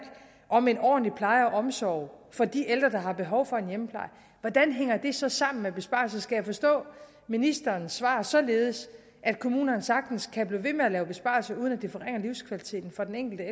om en ordentlig pleje af og omsorg for de ældre der har behov for en hjemmepleje hvordan hænger det så sammen med besparelser skal jeg forstå ministerens svar således at kommunerne sagtens kan blive ved med at lave besparelser uden at det forringer livskvaliteten for den enkelte